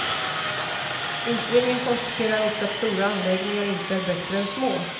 Utredningen konstaterar också att stora anläggningar inte är bättre än små.